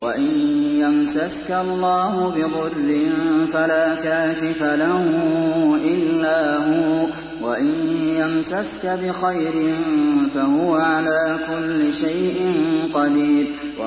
وَإِن يَمْسَسْكَ اللَّهُ بِضُرٍّ فَلَا كَاشِفَ لَهُ إِلَّا هُوَ ۖ وَإِن يَمْسَسْكَ بِخَيْرٍ فَهُوَ عَلَىٰ كُلِّ شَيْءٍ قَدِيرٌ